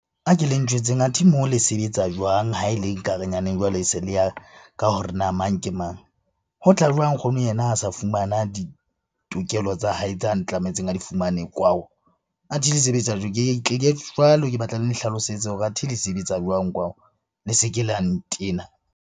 Ha ke le ntjwetseng, athe moo le sebetsa jwang? Ha e le nkare nyaneng jwale e se le ya ka hore na mang ke mang? Ho tla jwang nkgono yena a sa fumana ditokelo tsa hae tsa a ntlametseng a di fumane kwao. Athe le sebetsa jwang? Ke ke batla le nhlalosetse hore athe le sebetsa jwang kwao? Le se ke la ntena.